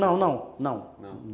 Não, não, não. Não.